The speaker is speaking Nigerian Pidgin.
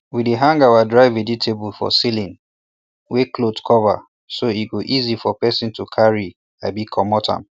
we dey hang our dry vegetables for ceiling wey cloth cover so e go easy for person to carry abi commot am